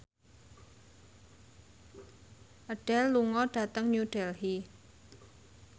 Adele lunga dhateng New Delhi